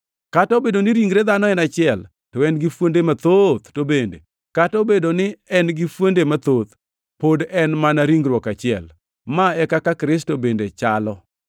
Kata obedo ni ringre dhano en achiel, to en gi fuonde mathoth, to bende kata obedo ni en gi fuonde mathoth, pod en mana ringruok achiel. Ma e kaka Kristo bende chalo.